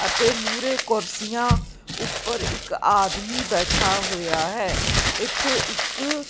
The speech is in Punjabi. ਅਤੇ ਮੂਰੇ ਕੁਰਸੀਆਂ ਉਪਰ ਇਕ ਆਦਮੀ ਬੈਠਾ ਹੋਇਆ ਹੈ ਇੱਥੇ ਇੱਕ--